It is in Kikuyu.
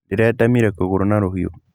Ndĩretemire kũgũrũ na rũhiũ.